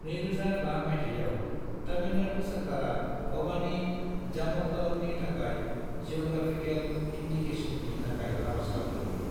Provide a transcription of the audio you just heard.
2005 मायथायाव, तमिलनाडु सोरकारा भवानी जामक्कलमनि थाखाय जीअग्रैफिकल इनदिकेसननि थाखाय आरज गाबदोंमोन।